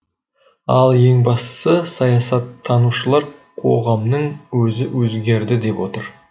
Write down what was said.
ал ең бастысы саясаттанушылар қоғамның өзі өзгерді деп отыр